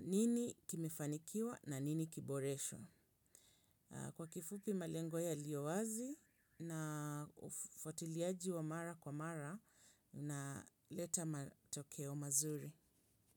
Nini kimefanikiwa na nini kiboreshwe. Kwa kifupi malengo yaliyo wazi na ufuatiliaji wa mara kwa mara unaleta matokeo mazuri.